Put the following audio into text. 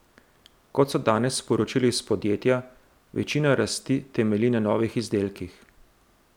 Kot so danes sporočili iz podjetja, večina rasti temelji na novih izdelkih.